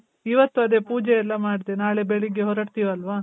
ಇವತ್ತ್ ಅದೆ ಪೂಜೆ ಎಲ್ಲ ಮಾಡ್ದೆ. ನಾಳೆ ಬೆಳಿಗ್ಗೆ ಹೊರಡ್ತೀವಲ್ವ?